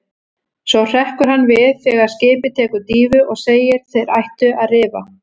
Svo hrekkur hann við þegar skipið tekur dýfu og segir: Þeir ættu að rifa.